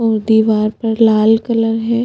और दिवार पर लाल कलर है।